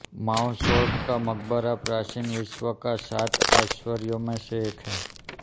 Mausolus का मकबरा प्राचीन विश्व का सात आश्चर्यो में से एक है